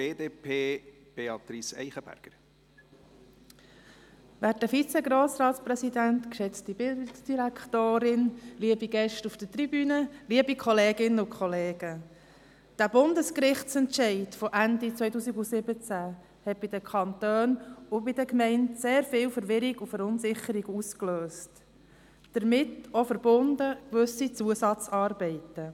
Der Bundesgerichtsentscheid von Ende 2017 hat bei den Kantonen und Gemeinden sehr viel Verwirrung und Verunsicherung ausgelöst, damit verbunden auch gewisse Zusatzarbeiten.